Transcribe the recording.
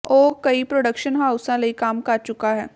ਉਹ ਕਈ ਪ੍ਰੋਡਕਸ਼ਨ ਹਾਊਸਾਂ ਲਈ ਕੰਮ ਕਰ ਚੁੱਕਾ ਹੈ